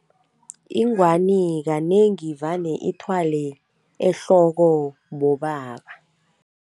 Ingwani kanengi vane ithwale ehloko bobaba.